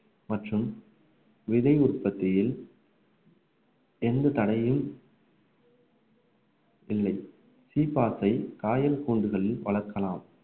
மற்றும் விதை உற்பத்தியில் எந்த தடையும் இல்லை சீப்பாசை, காயல் கூண்டுகளில் வளர்க்கலாம்